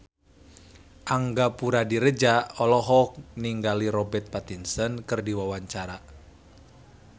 Angga Puradiredja olohok ningali Robert Pattinson keur diwawancara